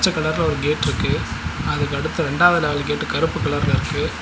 கலர்ல ஒரு கேட்ருக்கு அதுக்கடுத்து ரெண்டாவது லெவல் கேட் கருப்பு கலர்ல இருக்கு.